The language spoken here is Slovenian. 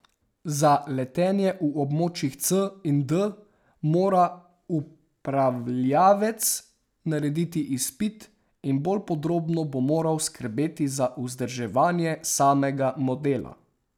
Za letenje v območjih C in D mora upravljavec narediti izpit in bolj podrobno bo moral skrbeti za vzdrževanje samega modela.